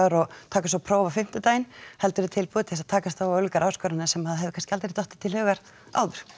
og taka svo próf á fimmtudaginn heldur er tilbúið til að takast á við ólíkar áskoranir sem að hefur kannski aldrei dottið til hugar áður